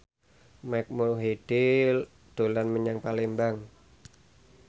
Mike Mohede dolan menyang Palembang